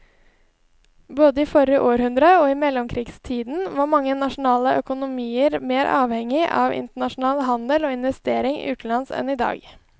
Både i forrige århundre og i mellomkrigstiden var mange nasjonale økonomier mer avhengig av internasjonal handel og investeringer utenlands enn i dag.